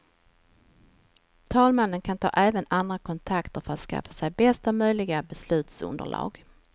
Talmannen kan ta även andra kontakter för att skaffa sig bästa möjliga beslutsunderlag.